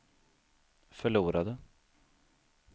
förlorade